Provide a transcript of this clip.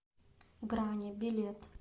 грани билет